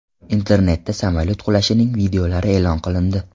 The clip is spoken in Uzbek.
Internetda samolyot qulashining videolari e’lon qilindi.